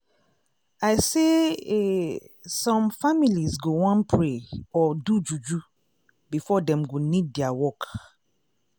i say eeh some families go wan pray or do juju before dem go need dia work.